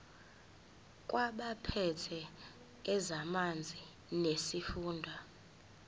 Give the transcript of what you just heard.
kwabaphethe ezamanzi nesifunda